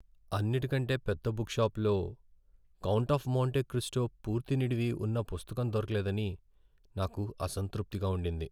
అన్నిటికంటే పెద్ద బుక్ షాపులో "కౌంట్ ఆఫ్ మోంటే క్రిస్టో" పూర్తి నిడివి ఉన్న పుస్తకం దొరకలేదని నాకు అసంతృప్తిగా ఉండింది.